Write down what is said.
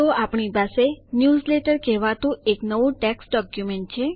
તો આપણી પાસે ન્યૂઝલેટર કહેવાતું એક નવું ટેક્સ્ટ ડોક્યુમેન્ટ છે